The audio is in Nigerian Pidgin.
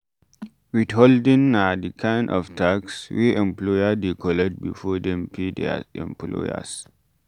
Withholding na di kind of tax wey employer dey collect before dem pay their employers